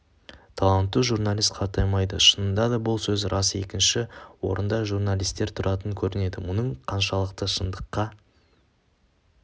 талантты журналист қартаймайды шынында да бұл сөз рас екінші орында журналистер тұратын көрінеді мұның қаншалықты шындыққа